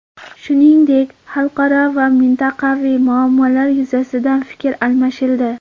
Shuningdek, xalqaro va mintaqaviy muammolar yuzasidan fikr almashildi.